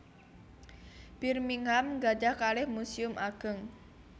Birmingham gadhah kalih muséum ageng